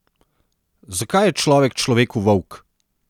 Zakaj je človek človeku volk?